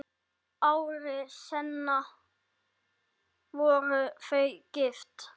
Ári seinna voru þau gift.